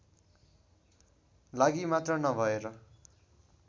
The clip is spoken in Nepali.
लागि मात्र नभएर